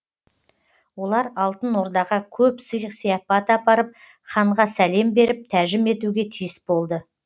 олар алтын ордаға көп сый сыяпат апарып ханға сәлем беріп тәжім етуге тиіс болды